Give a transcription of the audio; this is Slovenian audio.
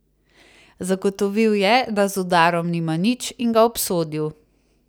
Zagotovil je, da z udarom nima nič, in ga obsodil.